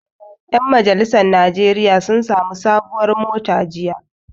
Ƴan majalisar najeriya sun sami sabon mota jiya